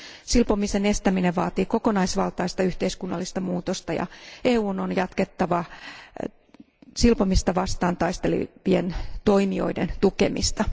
Silpomisen estäminen vaatii kokonaisvaltaista yhteiskunnallista muutosta, ja EUn on jatkettava silpomista vastaan taistelevien toimijoiden tukemista.